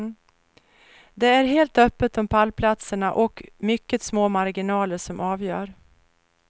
Det är helt öppet om pallplatserna och mycket små marginaler som avgör.